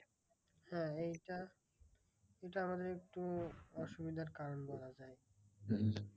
হ্যাঁ এইটা এইটা আমাদের একটু অসুবিধার কারণ বলা যায়।